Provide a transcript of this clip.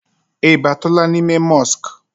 I batula n'ime mosk?